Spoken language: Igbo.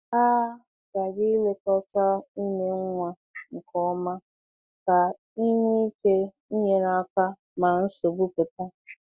A ghaghị ilekọta ime nwa nke ọma ka e nwee ike inyere aka ma nsogbu pụta.